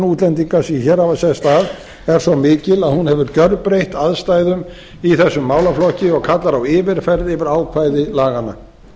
útlendinga sem hér hafa sest að er svo mikil að hún hefur gjörbreytt aðstæðum í þessum málaflokki og kallar á yfirferð yfir ákvæði laganna